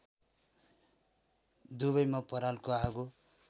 दुवैमा परालको आगो